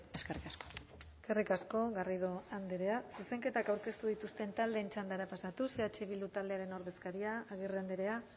eskerrik asko eskerrik asko garrido andrea zuzenketak aurkeztu dituzten taldeen txandara pasatuz eh bildu ordezkaria agirre andrea